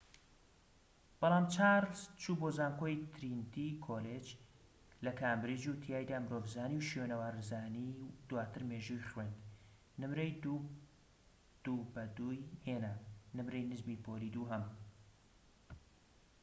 بەڵام چارلز چوو بۆ زانکۆی ترینیتی کۆلیج لە کامبرج و تیایدا مرۆڤزانی و شوێنەوارزانی و دواتر مێژووی خوێند، نمرەی ٢:٢ ی هێنا نمرەی نزمی پۆلی دووهەم